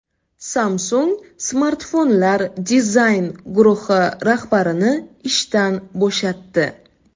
Samsung smartfonlar dizayn guruhi rahbarini ishdan bo‘shatdi.